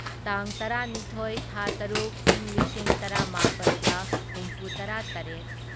ꯇꯥꯡ ꯇꯔꯥꯅꯤꯊꯣꯢ ꯊꯥ ꯇꯔꯨꯛ ꯢꯪ ꯂꯤꯁꯤꯡ ꯇꯔꯥꯃꯥꯄꯜꯒ ꯍꯨꯝꯐꯨꯇꯔꯥꯇꯔꯦꯠ